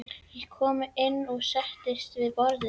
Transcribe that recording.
Ég kom inn og settist við borðið.